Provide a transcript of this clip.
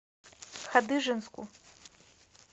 хадыженску